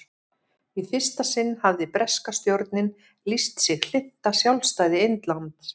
í fyrsta sinn hafði breska stjórnin lýst sig hlynnta sjálfstæði indlands